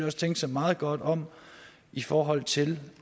også tænke sig meget godt om i forhold til